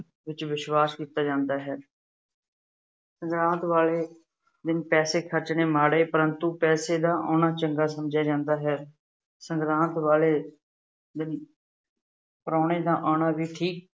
ਵਿੱਚ ਵਿਸ਼ਵਾਸ ਕੀਤਾ ਜਾਂਦਾ ਹੈ। ਸੰਗਰਾਦ ਵਾਲੇ ਦਿਨ ਪੈਸੇ ਖਰਚਣੇ ਮਾੜੇ ਪਰੰਤੂ ਪੈਸੇ ਦਾ ਆਉਣਾ ਚੰਗਾ ਸਮਝਿਆ ਜਾਂਦਾ ਹੈ। ਸੰਗਰਾਦ ਵਾਲੇ ਦਿਨ ਪ੍ਰਾਹੁਣੇ ਦਾ ਆਉਣਾ ਵੀ ਠੀਕ